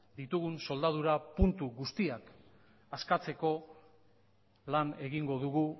soldadura puntu guztiak askatzeko lan egingo dugu